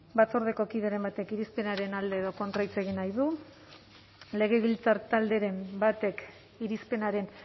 batzordeko kideren batek irizpenaren alde edo kontra hitz egin nahi du legebiltzar talderen batek irizpenaren